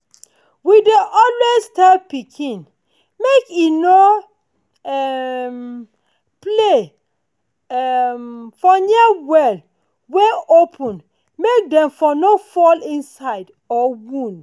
we dey tell pikin make e no um play um for near well wey open make dem no fall for inside or wound.